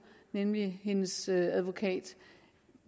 nemlig hendes advokat